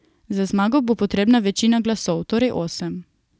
Za zmago bo potrebna večina glasov, torej osem.